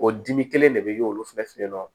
O dimi kelen de bɛ ye olu fɛnɛ fɛ yen nɔ